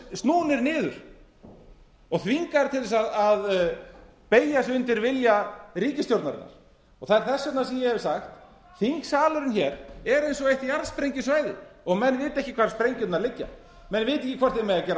snúnir niður og þvingaðir til að beygja sig undir vilja ríkisstjórnarinnar það er þess vegna sem ég hef sagt að þingsalurinn er eins og eitt jarðsprengjusvæði og menn vita ekki hvar sprengjurnar liggja menn vita ekki hvort þeir mega gera